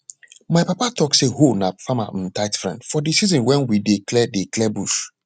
my papa talk say hoe na farmer um tight friend for di season wen we dey clear dey clear bush